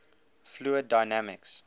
fluid dynamics